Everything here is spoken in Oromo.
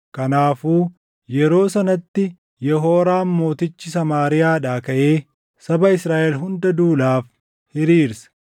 Kanaafuu yeroo sanatti Yehooraam mootichi Samaariyaadhaa kaʼee saba Israaʼel hunda duulaaf hiriirse.